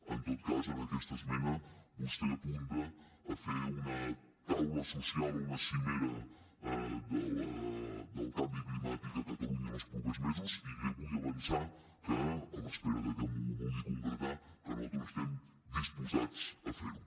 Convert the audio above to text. en tot cas en aquesta esmena vostè apunta a fer una taula social o una cimera del canvi climàtic a catalunya en els propers mesos i li vull avançar que a l’espera de que m’ho vulgui concretar nosaltres estem disposats a fer ho